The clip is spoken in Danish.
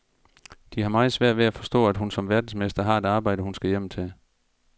De har meget svært ved at forstå, at hun som verdensmester har et arbejde, hun skal hjem til.